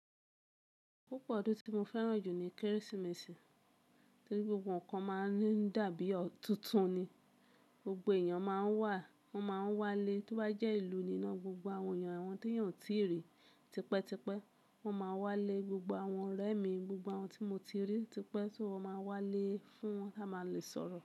Pupo ọdún tí mo fẹ́ràn jù ní Kérésìmesì, torí gbogbo ohun kan máa ń dàbí túntùn ni. Gbogbo èèyàn máa wá, wọ́n máa ń wálé tó bá jẹ́ ìlú níná, gbogbo àwọn èèyàn, àwọn tí yàn tí rí, tipẹ́tipẹ́ wọ́n máa wálé, gbogbo àwọn ọ̀rẹ́ mi, gbogbo àwọn tí mo ti rí tipẹ́ tó máa wálé fún wọn láma lè sọ̀rọ̀